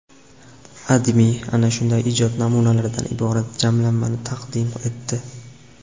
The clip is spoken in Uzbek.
AdMe ana shunday ijod namunalaridan iborat jamlanmani taqdim etdi .